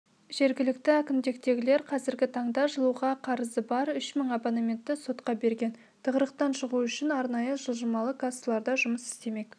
жергілікті әкімдіктегілер қазіргі таңда жылуға қарызы бар үш мың абонентті сотқа берген тығырықтан шығу үшін арнайы жылжымалы кассалар да жұмыс істемек